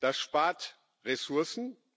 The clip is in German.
Das spart Ressourcen.